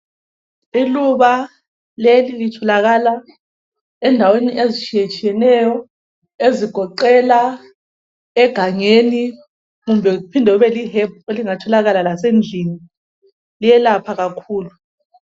Iluba leli litholakala endaweni ezitshiyetshiyeneyo ezigoqela egangeni kuphinde kube li hebhu elingatholakala lasendlini. Liyelapha kakhulu.